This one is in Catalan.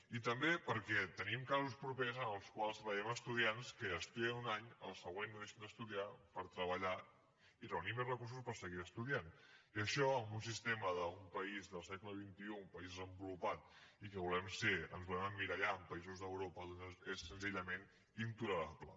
i també perquè tenim casos propers en els quals veiem estudiants que estudien un any el següent deixen d’estudiar per treballar i reunir més recursos per seguir estudiant i això en un sistema d’un país del segle xxi un país desenvolupat i que ens volem emmirallar en països d’europa és senzillament intolerable